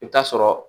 I bɛ taa sɔrɔ